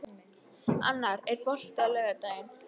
Annar, er bolti á laugardaginn?